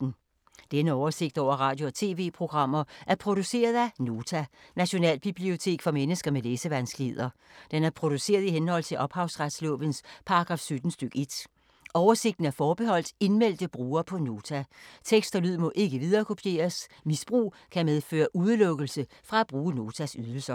Denne oversigt over radio og TV-programmer er produceret af Nota, Nationalbibliotek for mennesker med læsevanskeligheder. Den er produceret i henhold til ophavsretslovens paragraf 17 stk. 1. Oversigten er forbeholdt indmeldte brugere på Nota. Tekst og lyd må ikke viderekopieres. Misbrug kan medføre udelukkelse fra at bruge Notas ydelser.